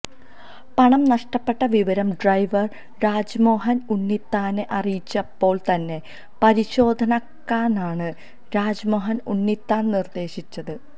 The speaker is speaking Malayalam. പണം നഷ്ടപ്പെട്ട വിവരം ഡ്രൈവർ രാജ്്്മോഹൻ ഉണ്ണിത്താനെ അറിയിച്ചപ്പോൾ തന്നെ പരിശോധിക്കാനാണ് രാജ്മോഹൻ ഉണ്ണിത്താൻ നിർദ്ദേശിച്ചത്